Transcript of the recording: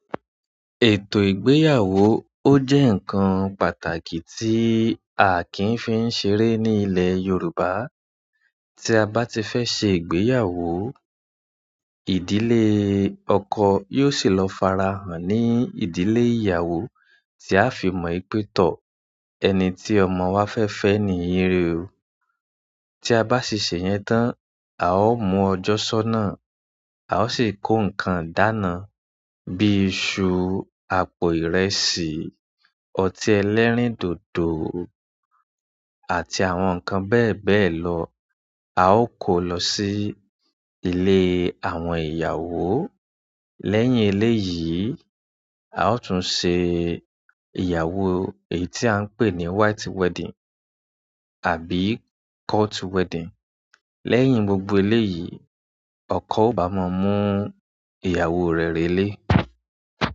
Ètò ìgbéyàwó ó jẹ́ ǹnkan pàtàkì tí a kì n fi ń ṣeré ní ilẹ̀ Yorùbá. Tí a bá ti fẹ́ ṣe ìgbéyàwó, ìdílé ọkọ yóò sì lọ farahàn ní ìdílé ìyàwó tí a fi mọ wìpè tọ̀ ẹni tí ọmọ wa fẹ́ fẹ́ níyì o. Ti a ba si se yẹn tan a o mu ọjọ sọna a o si ko nǹkan idaana bi isu, àpò ìrẹsì, ọti ẹlẹ́rìndòdò àti àwọn nǹkan bẹẹbẹẹ lọ. A ó kó lọ sí ilé àwọn ìyàwó. Lẹ́yìn eléyìí, a ó tún ṣe ìyàwó èyí tí à ń pè ní white wedding àbí court wedding. Lẹ́yìn gbogbo eléyìí, ọkọ ò bá mọ mú ìyàwó rẹ̀ relé.